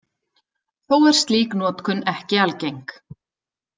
Þó er slík notkun ekki algeng.